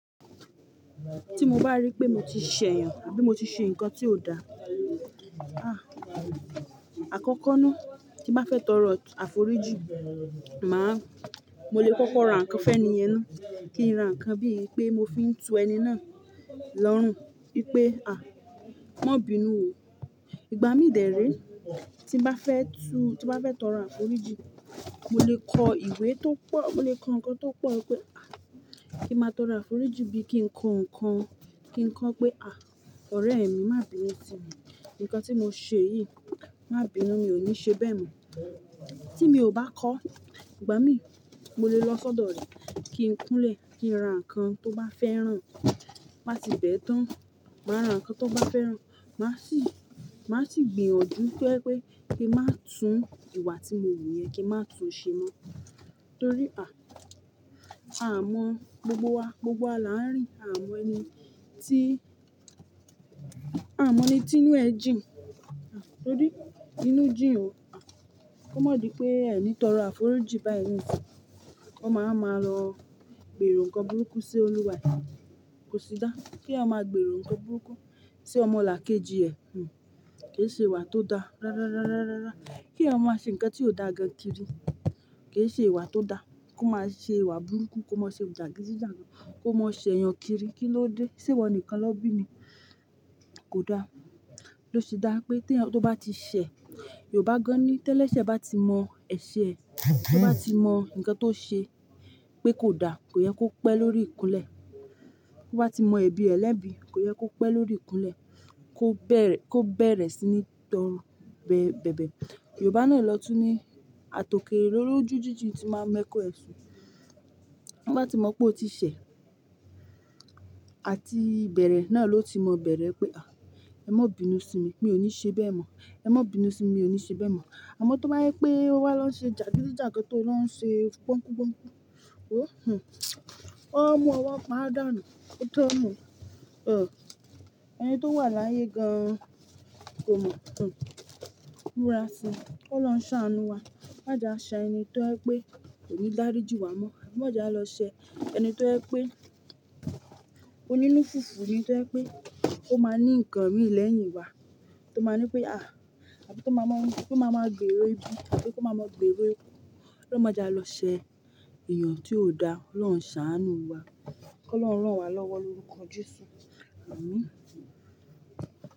Tí mo bá rí pé mo ti ṣẹ̀yàn àbí mo ti ṣe nǹkan tí ò da, ah, àkọ́kọ́ ná, tí n bá fẹ́ tọrọ àforíjì, màá, mo lè kọ́kọ́ rá ǹnkan fun eeyẹn ná, kí n ra nǹkan bíi pé mo fi ń tu ẹni ná lọ́rùn, wípé "à, má bínu o. Ìgbá mi dè re, tí n bá fẹ́ tu, tí n bá fẹ́ tọrọ àforíjì, mo lè kọ ìwé tó pọ̀, mo lè kọ ǹnkan tó pọ̀ pé a. Kí má tọrọ àforíjì bí, kí n kọ ǹkan, kí n kọ pé 'à, ọ̀rẹ́ mi, má bínu sí mi, ǹkan tí mo ṣe yìí, má bínu, mi ò ní ṣe bẹ́ẹ̀ mọ.' "Tí mi ò bá kọ, ìgbá mi, mo lè lọ́ sọ́dọ̀ rẹ̀ kí n kúnlẹ̀, kí n ran ǹkan tó bá fẹ́ rán, bá tì bẹ̀ ẹ́ tán, màá rá ǹkan tó bá fẹ́ rán, màá sì, màá sì gbìyànjú to jẹ pé kí n má tún ìwà tí mo wu yẹn kí n má tún ṣe mọ́. Nítorí à, a mọ gbogbo wa, gbogbo wa là ń rí, a mọ ẹni tí, a mọ ẹni tí inú ẹ̀ jìn, a, tórí, inú jìn o, a, kó má di pé ẹni tọrọ àforíjì báyìí, ó máa ma lọ gbèrò ǹkan burúkú sí olùwà ẹ, kò si dá. Kí èèyàn máa gbèrò ǹkan burúkú sí ọmọlàkejì ẹ̀, hm, kì í ṣe ìwà tó da. Rárá, rárá, rárá, kí èèyàn má ṣe ǹkan tí ò dá gan kiri, kì í ṣe ìwà tó da. Kó má ṣe ìwà burúkú, kó má ṣe jàgídíjàgan, kó má ṣẹ èèyàn kiri. Kíló dé ṣé iwọ nìkan ná bí ni? Kò da. Lo ṣe dá pé tí èèyàn tó bá ti ṣẹ̀, Yorùbá gan-an ni, tẹ́lẹ̀ ṣẹ́ bá ti mọ ẹ̀ṣẹ̀ ẹ, bá ti mọ ǹkan tó ṣe pé kò da, kò yẹ kó pẹ́ lórí ìkúnlẹ̀, tó bá ti mọ ẹ̀bi ẹ̀ lẹ́bi, kò yẹ kó pẹ́ lórí ìkúnlẹ̀, kó bẹ̀rẹ̀, kó bẹ̀rẹ̀ sí ní tọrọ bẹ̀, bẹ̀bẹ̀. Yorùbá náà ló tún ní, "Àtòkère lólójú jíjìn ti máa ń mẹ́kun rẹ̀ ṣùn." Bá ti mọ̀ pé o ti ṣẹ̀, àti ìbẹ̀rẹ̀ náà ló ti mọ bẹ̀rẹ̀ pé "à, ẹ má bínu sí mi, mi ò ní ṣe bẹ́ẹ̀ mọ̀, ẹ má bínu sí mi, mi ò ní ṣe bẹ́ẹ̀ mọ̀." Àmọ́ tó bá yẹ pé ó wá lọ ṣe jàgídíjàgan tó lọ ń ṣe gbọ́ngbọ́n, ó ń hù, ó ń mú ọwọ́ pa àdàna, ó tọ́mọ, o, ẹni tó wà láyé gan-an kò mọ̀, hm. Múra sí i, kó lọ ń ṣàánú wa. Má jẹ́ a ṣẹ ẹni tó ẹ pé kò ní dáríji wa mọ́, má jẹ́ a lọ ṣẹ ẹni tó ẹ pé ó ní nu fufu, tó ẹ pé ó máa ní ǹkan rí lẹ́yìn wa, tó máa ń pé "à," àbí tó máa mọ́, kí ó máa mọ̀ gbèrò ibi, àbí kó máa mọ̀ gbèrò ibi. Ó má jẹ́ a lọ ṣẹ èèyàn tí ò da, Ọlọ́run ṣàánú wa, kó lọ rán wa lọ́wọ́ lórúkọ Jésù. Àmín.